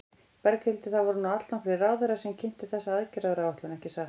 Berghildur, það voru nú allnokkrir ráðherrar sem kynntu þessa aðgerðaráætlun, ekki satt?